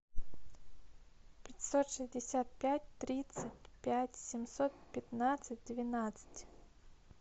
пятьсот шестьдесят пять тридцать пять семьсот пятнадцать двенадцать